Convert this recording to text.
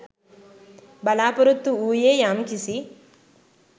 බලාපොරොත්තු වූයේ යම් කිසි